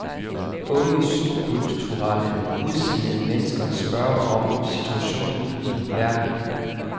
Unge subkulturelt udseende mennesker spørger om situationen i verden.